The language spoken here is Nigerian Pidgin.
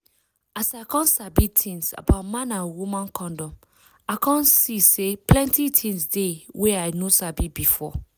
as i come sabi tins about man and woman condom i come see say plenty tins dey wey i no sabi before